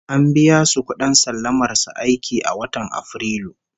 An biya su kudin sallamar su aiki a watan Afrilu